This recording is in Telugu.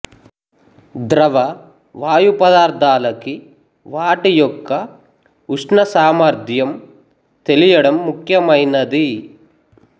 ద్రవ వాయు పదార్ధాలకి వాటి యొక్క ఉష్ణ సామర్థ్యం తెలియడం ముఖ్యమైనది